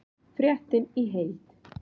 Fréttin í heild